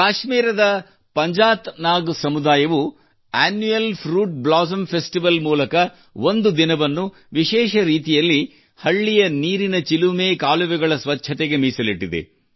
ಕಾಶ್ಮೀರದಲ್ಲಿ ಪಂಜಾತ್ ನಾಗ್ ಸಮುದಾಯವು annual fruit blossom festival ಮೂಲಕ ಒಂದು ದಿನವನ್ನು ವಿಶೇಷ ರೀತಿಯಲ್ಲಿ ಹಳ್ಳಿಯ ನೀರಿನ ಚಿಲುಮೆ ಕಾಲವೆಗಳ ಸ್ವಚ್ಛತೆಗೆ ಮೀಸಲಿಟ್ಟಿದೆ